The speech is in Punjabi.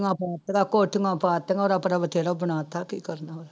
ਕੋਠੀਆਂ ਪਾ ਦਿੱਤੀਆਂ, ਉਰਾ ਪਰਾ ਬਥੇਰਾ ਬਣਾ ਦਿੱਤਾ ਕੀ ਕਰਨਾ।